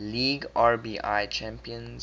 league rbi champions